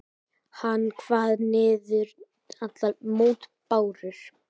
Hann kvað niður allar mótbárur.